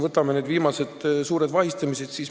Vaatame viimaseid suuri vahistamisi Eestis.